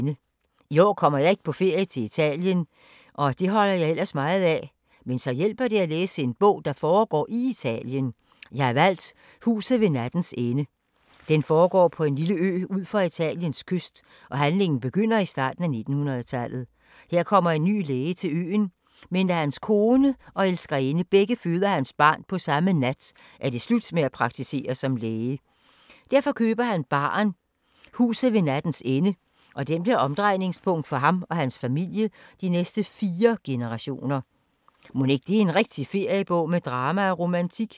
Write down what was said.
I år kommer jeg ikke på ferie til Italien og det holder jeg ellers meget af. Men så hjælper det at læse en bog, der foregår i Italien. Jeg har valgt Huset ved nattens ende. Den foregår på en lille ø ud for Italiens kyst og handlingen begynder i starten af 1900-tallet. Her kommer en ny læge til øen, men da hans kone og elskerinde begge føder hans barn på samme nat, er det slut med at praktisere som læge. Derfor køber han baren Huset ved nattens ende, og den bliver omdrejningspunkt for ham og hans familie i de næste fire generationer. Mon det ikke er en rigtig feriebog med drama og romantik?